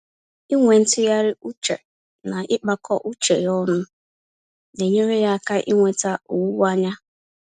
Ịnwe ntụgharị uche, na ịkpakọ uche ya ọnụ, naenyere ya áká inweta owuwe-anya.